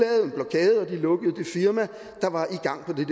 lukkede det firma der var i gang